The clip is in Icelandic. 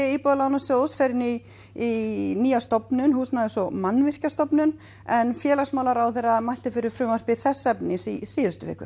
Íbúðalánasjóðs fer inn í í nýja stofnun húsnæðis og Mannvirkjastofnun en félagsmálaráðherra mælti fyrir frumvarpi þess efnis í síðustu viku